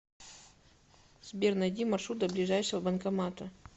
сбер найди маршрут до ближайшего банкомата